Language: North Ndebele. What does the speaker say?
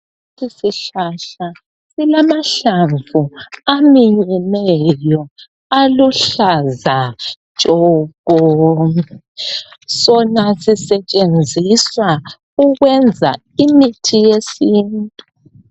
Isihlahla, kulamahlamvu aminyeneyo, aluhlaza tshoko. Sona Sisetshenziswa ukwenza imithi yesintu.